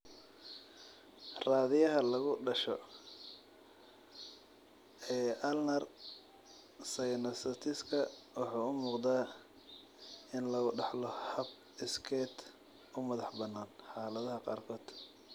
Raadiyaha lagu dhasho ee ulnar synostasiska wuxuu u muuqdaa in lagu dhaxlo hab iskeed u madaxbannaan xaaladaha qaarkood.